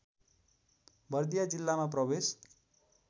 बर्दिया जिल्लामा प्रवेश